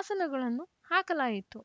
ಆಸನಗಳನ್ನು ಹಾಕಲಾಯಿತು